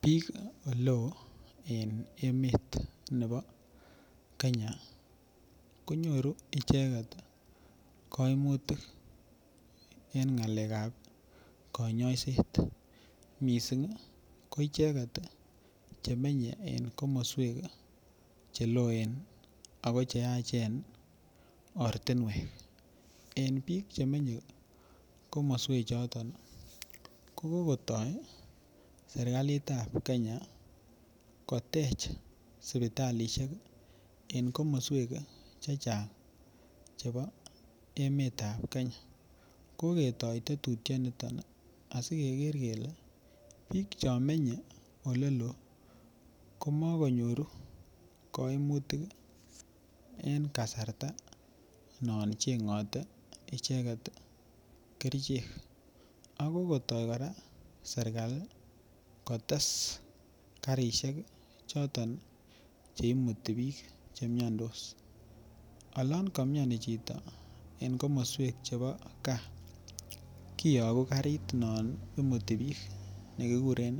Bik oleo en emet nebo Kenya konyoru icheket koimutik en ngalekab konyoiset missing ko icheket chemenye komoswek cheloen ako cheyachen ortinwek. En bik chemenye komoswek choton ko kokotoret sirkalit tab Kenya kotech sipitalishek en komoswek chechang chebo emetab Kenya koketoret tetutyo niton nii asikeger kele en Bichon menye oleleo komokonyoru koimutik en kasarta non Chengote icheket kerichek ak kokoto koraa sirkali kotes karishek choton chekimuti bik chemiondos. Olon komioni chito en komoswek chebo gaa kiyoku karit neimuti bik nekikuren